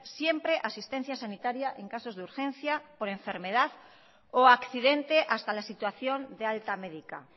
siempre asistencia sanitaria en casos de urgencia por enfermedad o accidente hasta la situación de alta médica